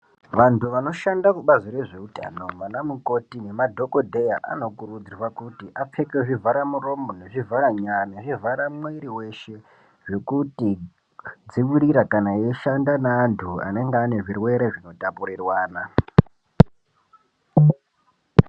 Vantu vanoshanda kubazi rezveutano vana mukoti nemadhokodheya anokurudzirwa kuti apfeke zvivhara muromo nezvivhara nya nezvivhara mwiri weshe zvekuti dzivirira kana eishanda naantu anenga ane zvirwere zvinotapurirwana.